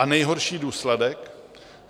A nejhorší důsledek?